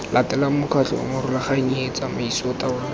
latelang mokgatlho morulaganyi tsamaiso taolo